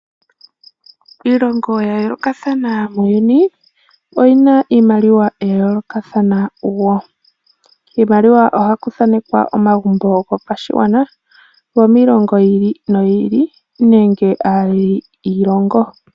Iilongo ya yoolokathana muuyuni oyi na iimaliwa ya yoolokathana woo, kiimaliwa oha ku thanekwa omagumbo go pashigwana go miilongo yi ili no yi ili nenge aaleli yiilongo.